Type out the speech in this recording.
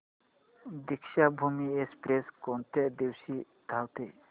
Deekshabhoomi express कोणत्या दिवशी धावते